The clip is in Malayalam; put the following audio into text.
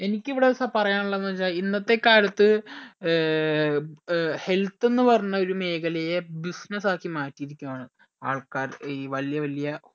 എനിക്കിവിടെ സ പറയാനുള്ളത് എന്തെച്ച ഇന്നത്തെ കാലത്ത് ഏർ health എന്ന് പറഞ്ഞ ഒരു മേഖലയെ business ആക്കി മാറ്റിയിരിക്കുആണ് ആൾക്കാർ ഈ വല്യ വല്യ